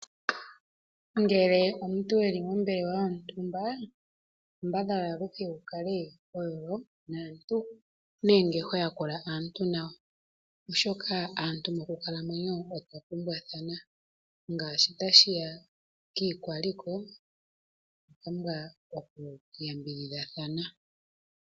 Uuna omuntu e li mombelewa yontumba kambadhala aluhe wu kale ho yolo naantu nenge ho yakula aantu nawa oshoka aantu mokukalamwenyo otwa pumbwathana ngaashi tashi ya kiikwaliko otwa pumbwa okuyambidhidhathana.